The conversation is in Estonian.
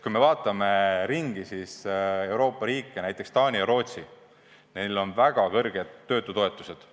Kui me vaatame ringi, siis Euroopa riikides, näiteks Taanis ja Rootsis, on väga suured töötutoetused.